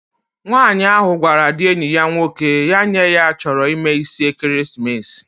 Nwaanyi ahu gwara di enyi ya nwoke, ya nye ya choro imee isi ekeremesis